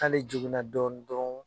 Ani jugunna dɔɔni dron